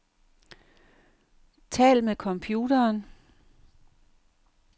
Tal med computeren.